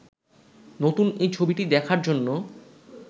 নতুন এ ছবিটি দেখার জন্য